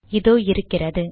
இதோ இருக்கிறது